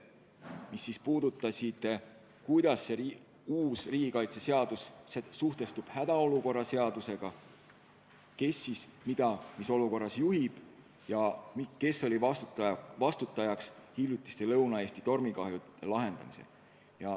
Need puudutasid seda, kuidas uus riigikaitseseadus suhestub hädaolukorra seadusega, kes mida mis olukorras juhib ja kes oli vastutajaks hiljutiste Lõuna-Eesti tormikahjude lahendamisel.